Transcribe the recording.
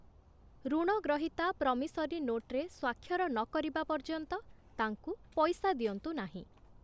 ଋଣ ଗ୍ରହୀତା ପ୍ରମିସରି ନୋଟ୍‌ରେ ସ୍ୱାକ୍ଷର ନକରିବା ପର୍ଯ୍ୟନ୍ତ ତାଙ୍କୁ ପଇସା ଦିଅନ୍ତୁ ନାହିଁ ।